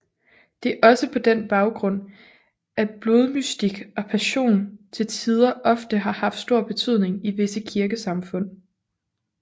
Det er også på den baggrund at blodmystik og passion til tider ofte har haft stor betydning i visse kirkesamfund